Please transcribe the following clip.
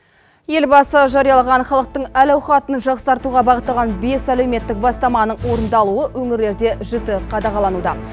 елбасы жариялаған халықтың әл ауқатын жақсартуға бағытталған бес әлеуметтік бастаманың орныдалуы өңірлерде жіті қадағалануда